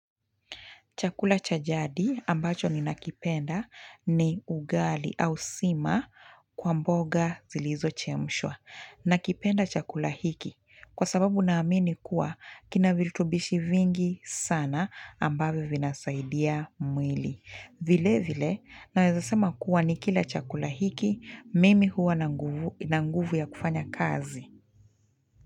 Chakula cha jadi ambacho ni nakipenda ni ugali au sima kwa mboga zilizochemshwa. Nakipenda chakula hiki kwa sababu naamini kuwa kina viltubishi vingi sana ambavyo vinasaidia mwili. Vile vile naweza sema kuwa ni kila chakula hiki mimi huwa na nguvu ya kufanya kazi.